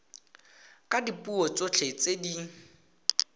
ka dipuo tsotlhe tse di